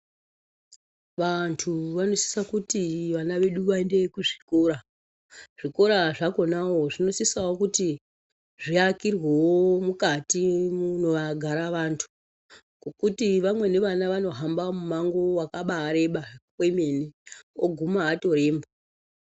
Vantu vanosisa kuti vana vedu vayende kuzvikora, zvikora zvakonawo zvinosisawo kuti zviakirwewo mukati munogara vantu, ngokuti vamweni vana vanohamba mumango wakabareba kwemene oguma atoremba.